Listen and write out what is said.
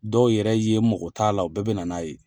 Dɔw yɛrɛ ye n mɔko t'a la o bɛɛ bɛ na n'a ye.